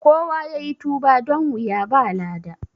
Kowa yayi tuba don wuya ba lada